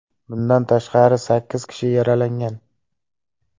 Bundan tashqari, sakkiz kishi yaralangan.